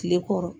Kile kɔrɔ